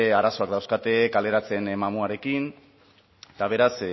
arazoak dauzkate kaleratze mamuarekin eta beraz